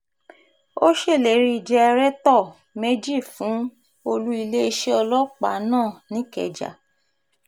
ó ṣèlérí jẹ̀rẹ̀tọ̀ méjì fún olú iléeṣẹ́ ọlọ́pàá náà nìkẹ́jà